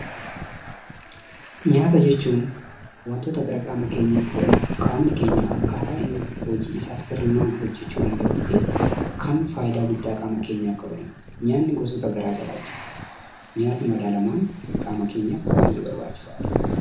Nyaata jechuun wantoota gara qaama keenyaatti fudhannu qaamni keenya akkaataa inni itti hojii isaa sirnaan hojjechuu danda'utti kan faayidaa guddaa qaama keenyaaf qabanii dha. Nyaanni gosoota garaagaraatu jiru. Nyaanni madaalamaan qaama keenyaaf baay'ee barbaachisaa dha.